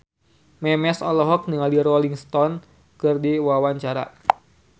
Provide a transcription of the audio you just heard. Memes olohok ningali Rolling Stone keur diwawancara